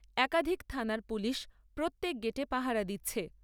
একাধিক থানার পুলিশ প্রত্যেক গেটে পাহারা দিচ্ছে।